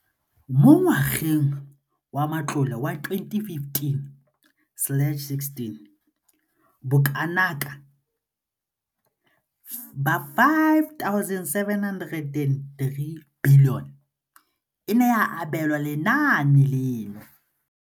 Mo ngwageng wa matlole wa 2015-16, bokanaka R5 703 bilione e ne ya abelwa lenaane leno.